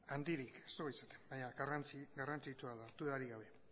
handirik ez dugu izaten baina garrantzitsua da dudarik gabe